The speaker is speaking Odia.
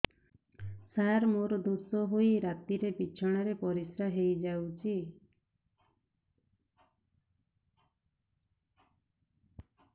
ସାର ମୋର ଦୋଷ ହୋଇ ରାତିରେ ବିଛଣାରେ ପରିସ୍ରା ହୋଇ ଯାଉଛି